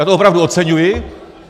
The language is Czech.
Já to opravdu oceňuji.